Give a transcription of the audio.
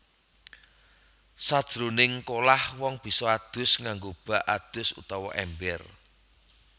Sajroning kolah wong bisa adus nganggo bak adus utawa èmber